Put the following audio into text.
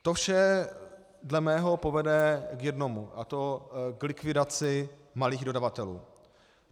To vše dle mého povede k jednomu, a to k likvidaci malých dodavatelů.